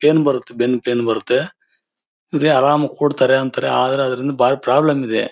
ಏನು ಬರುತ್ತೆ ಬೆನ್ನು ಪೈನ್ ಬರುತ್ತೆ ಇಲ್ಲಿ ಆರಾಮಾಗಿ ಕೂರ್ತಾರೆ ಅಂತಾರೆ ಆದರೆ ಅದರಿಂದ ಬಾರಿ ಪ್ರಾಬ್ಲಮ್ ಇದೆ.